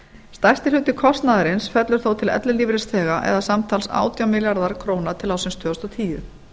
stærsti hluti kostnaðarins fellur þó til ellilífeyrisþega eða samtals átján milljarðar króna til ársins tvö þúsund og tíu